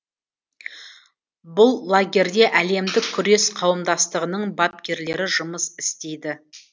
бұл лагерьде әлемдік күрес қауымдастығының бапкерлері жұмыс істейді